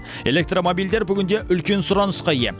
электромобильдер бүгінде үлкен сұранысқа ие